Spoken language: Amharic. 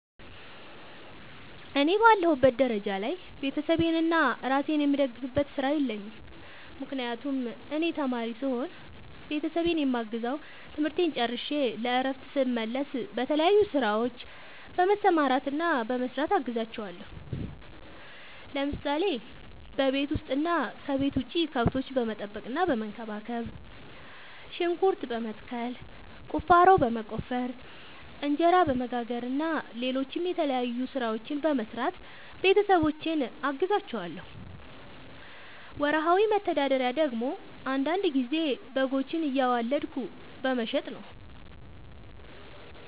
እኔ በአለሁበት ደረጃ ላይ ቤተሰቤንና እራሴን የምደግፍበት ስራ የለኝም። ምክንያቱም እኔ ተማሪ ስሆን ቤተሰቤን የማግዘው ትምህርቴን ጨርሸ ለእረፍት ስመለስ በተለያዩ ስራዎች በመሰማራትና በመስራት አግዛቸዋለሁ። ለምሳሌ፦ በቤት ውስጥ እና ከቤት ውጭ ከብቶች በመጠበቅና በመንከባከብ፣ ሽንኩርት በመትከል፣ ቁፋሮ በመቆፈር፣ እንጀራ በመጋገር እና ሌሎችም የተለያዩ ስራዎችን በመስራት ቤተሰቦቼን አግዛቸዋለሁ። ወርሃዊ መተዳደሪያ ደግሞ አንዳንድ ጊዜ በጎችን እያዋለድኩ በመሸጥ ነው።